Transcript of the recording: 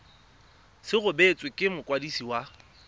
se rebotswe ke mokwadisi wa